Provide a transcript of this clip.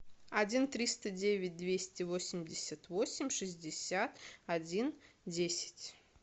один триста девять двести восемьдесят восемь шестьдесят один десять